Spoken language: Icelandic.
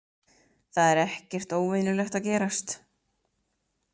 Það er ekkert óvenjulegt að gerast